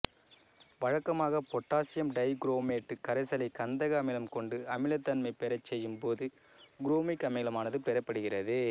வழக்கமாக potassium dichromate கரைசலை கந்தக அமிலம் கொண்டு அமிலத்தன்மை பெறச்செய்யும் போது குரோமிக் அமிலமானது பெறப்படுகிறது